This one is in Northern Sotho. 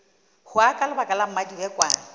hwa ka lebaka la mmadibekwane